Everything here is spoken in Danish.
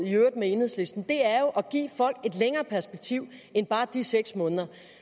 med enhedslisten er jo at give folk et længere perspektiv end bare de seks måneder